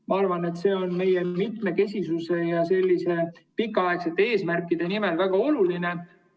Ma arvan, et see on mitmekesisuse ja pikaaegsete eesmärkide mõttes väga oluline.